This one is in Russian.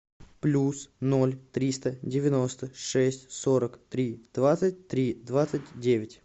плюс ноль триста девяносто шесть сорок три двадцать три двадцать девять